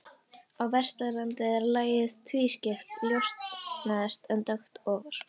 Á Vesturlandi er lagið tvískipt, ljóst neðst en dökkt ofar.